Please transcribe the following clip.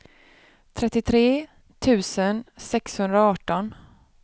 trettiotre tusen sexhundraarton